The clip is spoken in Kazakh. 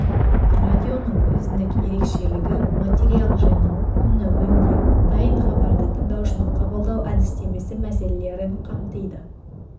радионың өзіндік ерекшелігі материал жинау оны өңдеу дайын хабарды тыңдаушының қабылдау әдістемесі мәселелерін қамтиды